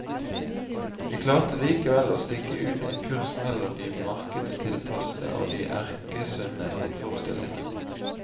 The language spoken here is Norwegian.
Vi klarte likevel å stikke ut en kurs mellom det markedstilpassede og de erkesunne motforestillingene.